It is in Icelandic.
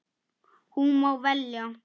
Hún má velja.